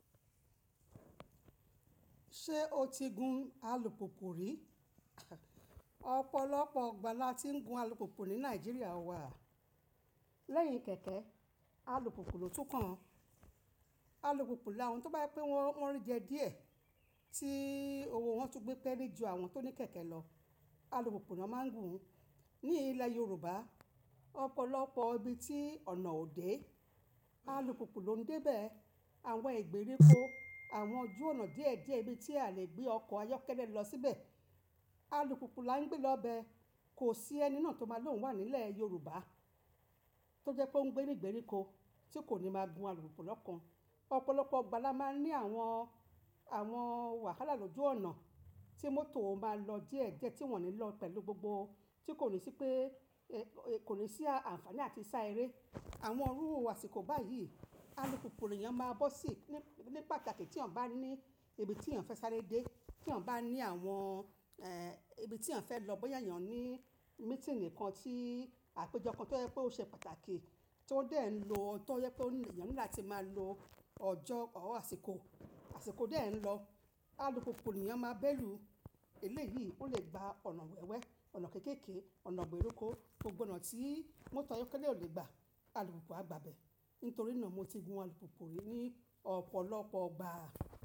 Ṣé o ti gun alùpùpù rí? Ọ̀pọ̀lọpọ̀ ọgbà la ti ń gun alùpùpù ní Nàìjíríà wa. Lẹ́yìn kẹ̀kẹ́, alùpùpù lòtún kan. Alùpùpù làáwọn tó bá yipé wọn rí jẹ díẹ̀ tí owó wọn tún gbé pẹ́lẹ́ ju àwọn tó ní kẹ̀kẹ́ lọ. Alùmupu ni wọ́n máa ń gun. Ní ilẹ̀ Yorùbá, ọ̀pọ̀lọpọ̀ ibi tí ọ̀nà ò dé, alùpùpù ló ń dé bẹ́ẹ̀. Àwọn ìgbèríko, àwọn ojú ọ̀nà díẹ̀díẹ̀, ibi tí a lè gbé ọkọ̀ ayọ́kẹ́lẹ́ lọ síbẹ̀, alùpùpù la ń gbé lọ bẹ. Kò sí ẹni náà tó máa lòún wà nílẹ̀ Yorùbá tó jẹ́ pé ó ń gbé ní ìgbèríko tí kò ní máa gun alùpùpù lọ́kàn. Ọ̀pọ̀lọpọ̀ igba la máa ń ní àwọn, àwọn wàhálà lójú ọ̀nà tí mọ́tò ò máa lọ díẹ̀ díẹ̀ tí wọ́n ní lọ pẹ̀lú gbogbo tí kò ní sí pé ẹ̀, kò ní sí àǹfààní àti sá eré. Àwọn rúru àṣìkò báyìí, alùpùpù nìyẹn máa bọ́ sí ní pàtàkì tí ẹ̀niyàn bá ní ibi tí ẹ̀niyàn fẹ́ sáré dé, tí ẹ̀niyàn bá ní àwọn eh ibi tí a fẹ́ lọ bóyá ẹ̀niyàn ní mítìní kan tí àpéjọ kan tó yẹ pé ó ṣe pàtàkì tí ó dé ẹ̀ ń lọ, tí ó yẹ pé ẹ̀niyàn níláti máa lo ọjọ́, ọ̀wọ́ àṣìkò, àṣìkò dé ẹ̀ ń lọ. Alùpùpù ni yan máa béèlu. Eléyìí ó lè gba ọ̀nà wẹ́wẹ́, ọ̀nà kéékèèké, ọ̀nà ìgbèríko, gbogbo ọ̀nà tí mọ́tò ayọ́kẹ́lẹ́ ò lè gbà, alùpùpù á gba bẹ́ẹ̀. Nítorí náà mo ti gun alùpùpù rí ní ọ̀pọ̀lọpọ̀ igba.